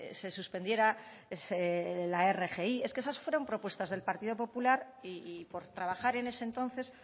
se suspendiera la rgi es que esas fueron propuestas del partido popular y por trabajar en ese entonces